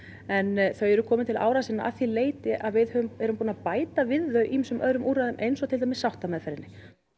en þau eru komin til ára sinna að því leyti að við erum búin að bæta við þau ýmsum öðrum úrræðum eins og til dæmis sáttameðferðinni